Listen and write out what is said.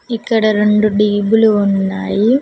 ఇక్కడ రొండు డి_బి లు లు ఉన్నాయి.